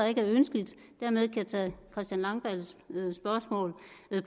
ikke er ønskeligt og dermed kan jeg tage herre christian langballes spørgsmål